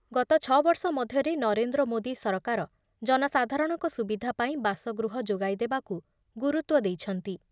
ଗତ ଛ ବର୍ଷ ମଧ୍ୟରେ ନରେନ୍ଦ୍ର ମୋଦି ସରକାର ଜନସାଧାରଣଙ୍କ ସୁବିଧା ପାଇଁ ବାସଗୃହ ଯୋଗାଇ ଦେବାକୁ ଗୁରୁତ୍ୱ ଦେଇଛନ୍ତି ।